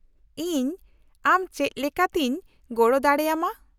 -ᱤᱧ ᱟᱢ ᱪᱮᱫ ᱞᱮᱠᱟᱛᱤᱧ ᱜᱚᱲᱚ ᱫᱟᱲᱮ ᱟᱢᱟ ?